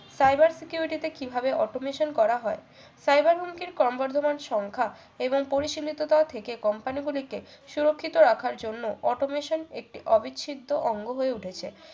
cyber security তে কিভাবে automation করা হয় fiber হুমকির ক্রমবর্ধমান সংখ্যা এবং পরিসিমিয়তা থেকে company গুলিকে সুরক্ষিত রাখার জন্য automation একটি অবিচ্ছেদ্য অঙ্গ হয়ে উঠেছে